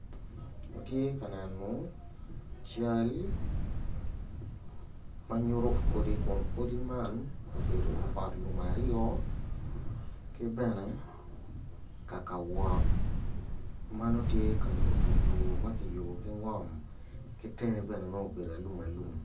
Watye ka neno cal ma nyuto odi kwan kun odi man obedo ot lum aryo ki bene kaka wot ma nongo tye ka nyuto yo ma kiyubo ki ngom ki tenge bene nono obedo alum alumalum.